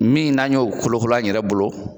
Min n'a y'o kolokolo an yɛrɛ bolo.